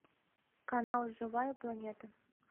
канал живая планета